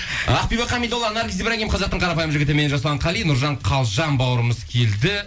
ақбибі хамидолла наргиз ибрагим қазақтың қарапайым жігіті мен жасұлан қали нұржан қалжан бауырымыз келді